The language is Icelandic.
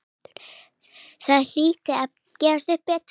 Það hlyti að gefast betur.